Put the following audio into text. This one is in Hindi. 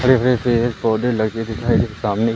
हरे भरे पेड़ पौधे लगे दिखाई दे सामने--